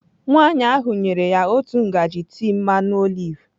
Nwaanyị ahụ nyere ya otu ngaji tii mmanụ oliv.